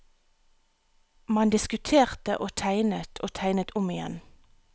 Man diskuterte og tegnet, og tegnet om igjen.